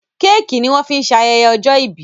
Kéèkì ní wón fín ṣe ayẹyẹ ojó ibí